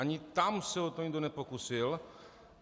Ani tam se o to nikdo nepokusil.